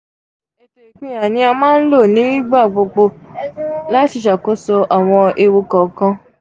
èto ipinya ni a maa n lo nigbagbogbo lo lati ṣakoso awọn ewu kọọkan.